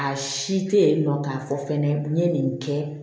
A si te yen nɔ k'a fɔ fɛnɛ n ye nin kɛ